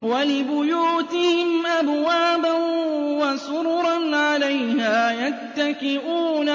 وَلِبُيُوتِهِمْ أَبْوَابًا وَسُرُرًا عَلَيْهَا يَتَّكِئُونَ